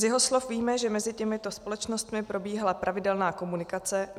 Z jeho slov víme, že mezi těmito společnostmi probíhala pravidelná komunikace.